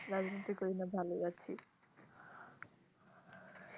রাজনীতি করি না ভালোই আছি